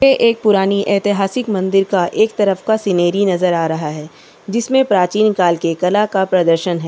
ये एक पुरानी ऐतिहासिक मंदिर का एक तरफ का सीनरी नजर आ रहा हैं जिसमें प्राचीन काल के कला का प्रदर्शन हैं।